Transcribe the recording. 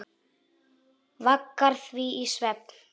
Vaggar því í svefn.